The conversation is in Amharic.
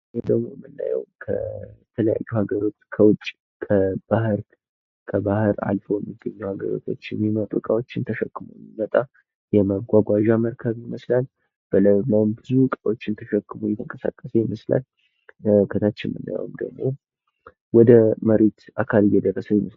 ይሄ ደግሞ ምናየው ከተለያዩ ሃገሮች ከውጭ ከባህር አልፈው ሚገኙ ሃገራቶች የሚመጡ እቃዎችን ይዞ ሚመጣ የመጓጓዣ መርከብ ይመስላል፡፡ በላዩ ላይም ብዙ እቃዎችን ይዞ እየተንቀሳቀሰ ይመስላል፡፡ ከታች ምናየውም ደግሞ ወደ መሬት አካል እየደረሰ ይመስላል፡፡